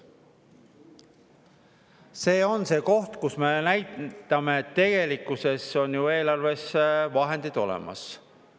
See on see koht, kus me näitame, et tegelikkuses on ju eelarves vahendid olemas.